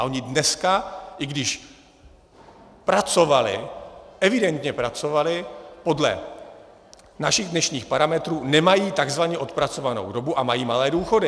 A oni dneska, i když pracovali, evidentně pracovali, podle našich dnešních parametrů nemají tzv. odpracovanou dobu a mají malé důchody.